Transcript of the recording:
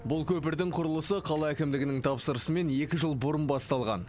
бұл көпірдің құрылысы қала әкімдігінің тапсырысымен екі жыл бұрын басталған